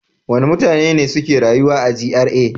Wane mutane ne suke rayuwa a GRA?